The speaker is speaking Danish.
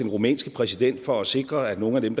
rumænske præsident for at sikre at nogle af dem